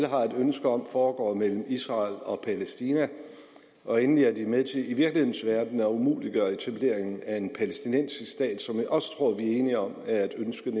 har et ønske om foregår mellem israel og palæstina og endelig at de er med til i virkelighedens verden at umuliggøre etableringen af en palæstinensisk stat som jeg også tror vi er enige om er et ønske